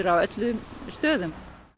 á öllum stöðum